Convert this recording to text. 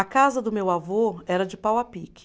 A casa do meu avô era de pau a pique.